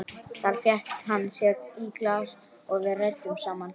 Þar fékk hann sér í glas og við ræddum saman.